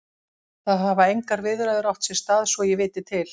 Það hafa engar viðræður átt sér stað svo ég viti til.